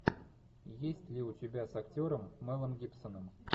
есть ли у тебя с актером мелом гибсоном